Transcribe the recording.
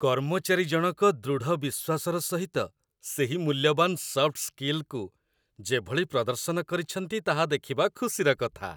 କର୍ମଚାରୀଜଣକ ଦୃଢ଼ ବିଶ୍ୱାସର ସହିତ ସେହି ମୂଲ୍ୟବାନ ସଫ୍ଟ ସ୍କିଲ୍‌ସ୍‌କୁ ଯେଭଳି ପ୍ରଦର୍ଶନ କରିଛନ୍ତି ତାହା ଦେଖିବା ଖୁସିର କଥା।